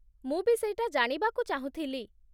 ମୁଁ ବି ସେଇଟା ଜାଣିବାକୁ ଚାହୁଁଥିଲି ।